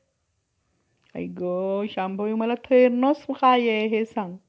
त्यास ब्रम~ त्याच ब्रम्हाने आपल्या कोणत्या अवयवांपासून उत्पन्न केले याविषयी मनुस~ मनुस संहितेत कसाकाय लेख आहे.